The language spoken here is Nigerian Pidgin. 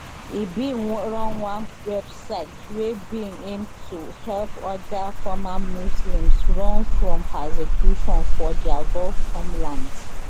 e bin run one website wey bin aim to help oda former muslims run from persecution for dia gulf homelands